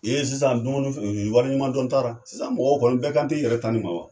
sisan dumuni wali ɲuman dɔn t'a ra sisan mɔgɔw kɔni bɛɛ kan te i yɛrɛ ta ni ma wa.